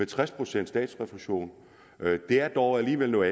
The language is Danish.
tres procent statsrefusion er dog alligevel noget